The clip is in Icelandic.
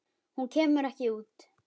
En hún kemur ekki út.